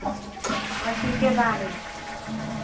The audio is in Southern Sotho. ba se ke ba re